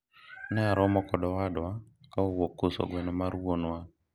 ne aromo kod owadwa ka owuok uso gweno mar wuonwa